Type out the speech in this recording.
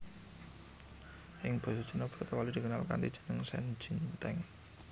Ing basa Cina bratawali dikenal kanthi jeneng shen jin teng